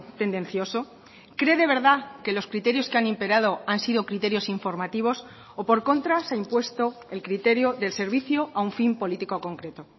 tendencioso cree de verdad que los criterios que han imperado han sido criterios informativos o por contra se ha impuesto el criterio del servicio a un fin político concreto